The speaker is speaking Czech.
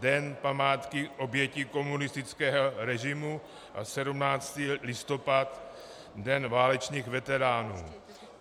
Den památky obětí komunistického režimu a 17. listopad - Den válečných veteránů.